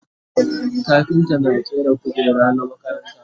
kafinta na ƙera kujeru na makaranta